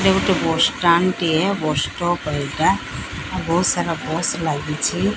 ଏଟା ଗୋଟେ bus stand ଟିଏ ବସ୍ ଷ୍ଟପ୍ ଏଇଟା ଆଉ ବହୁତ୍ ସାରା ବସ୍ ଲାଗିଛି।